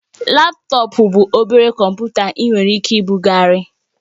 Laptọọpụ bụ obere kọmputa ị nwere ike ibugharị